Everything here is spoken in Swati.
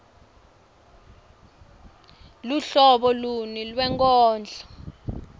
luhlobo luni lwenkondlo